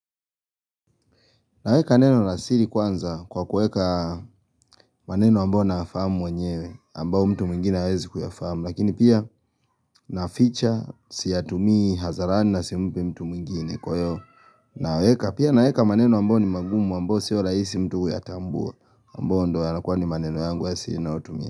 Naweka neno la siri kwanza kwa kueka maneno ambao nafamu mwenyewe ambao mtu mwingine wezi kuyafahamu lakini pia naficha siyatumii hadharani na simpi mtu mwingine kwa hiyo naweka pia naweka maneno ambao ni magumu ambao sio rahisi mtu kuyatambua ambao ndio yanakua ni maneno yangu ya siri ninayotumia.